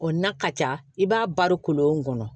O na ka ca i b'a baro kolon kɔnɔ